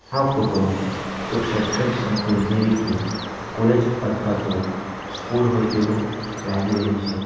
આ ફોટો એક શૈક્ષણિક સંકુલ જેવી કે કોલેજ અથવા તો સ્કૂલ હોય તેવું લાગી રહ્યું છે.